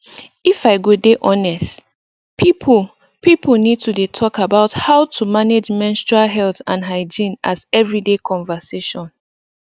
if i go dey honest people people need to dey talk about how to manage menstrual health and hygiene as everyday conversation